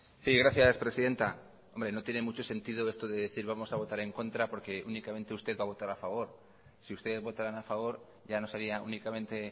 sí gracias presidenta hombre no tiene mucho sentido esto de decir vamos a votar en contra porque únicamente usted va a votar a favor si ustedes votaran a favor ya no sería únicamente